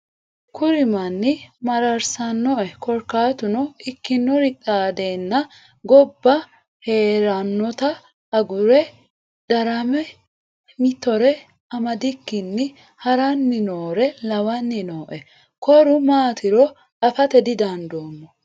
Kuri manni mararsinoe korkatuno ikkinori xaadenna gobba heeranotta agure darame mittore amadikkini harani noore lawani nooe koru maatiro afate didandoommo.